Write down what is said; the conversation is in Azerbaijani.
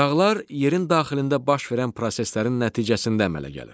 Dağlar yerin daxilində baş verən proseslərin nəticəsində əmələ gəlir.